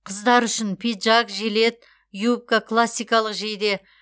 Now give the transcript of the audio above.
қыздар үшін пиджак жилет юбка классикалық жейде